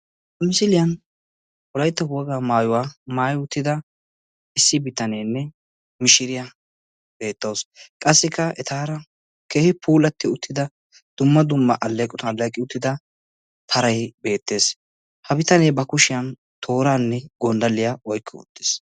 Misilayn wolaytta wogaa maayuwaa maaayida issi biitanene miishiriya betawusu. Qassika etara keehi puulatidi uttida dumma dumma alleetoan alleqi uttida paraay betees. Ha biitaane kushiyan toorane gonddaliya oyqqi uttiis.